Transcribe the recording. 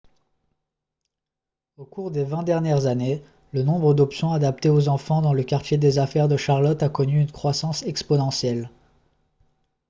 au cours des 20 dernières années le nombre d'options adaptées aux enfants dans le quartier des affaires de charlotte a connu une croissance exponentielle